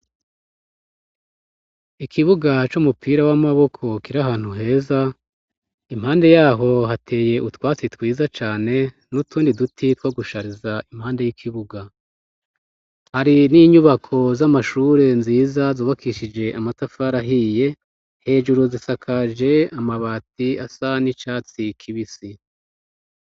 ikibuga c'umupira w'amaboko kiri ahantu heza impande yaho hateye utwatsi twiza cane n'utundi duti two gushariza impande y'ikibuga hari n'inyubako z'amashure nziza zubakishije amatafari ahiye hejuru zisakaje amabati asa n'icatsi kibisi